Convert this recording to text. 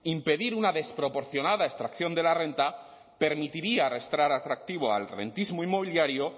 impedir una desproporcionada extracción de la renta permitiría restar atractivo al rentismo inmobiliario